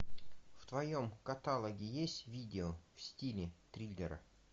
в твоем каталоге есть видео в стиле триллера